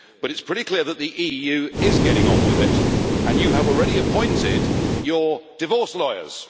But is pretty clear that the EU is getting on with it, and you have already appointed your divorce lawyers.